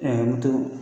moto